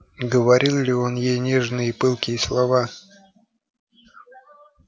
говорил ли он ей нежные и пылкие слова